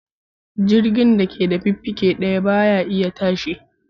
Jirgin da ke da fiffike daya ba ya iya tashi.